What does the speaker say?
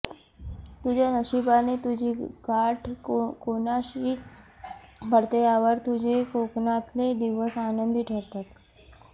तुझ्या नशिबाने तुझी गाठ कोणाशी पडते यावर तुझे कोकणातले दिवस आनंदी ठरतात